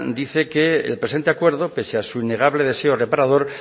dice que el presente acuerdo pese a su innegable deseo reparador